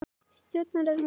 Stjórnarráð Íslands.